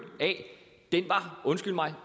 af undskyld mig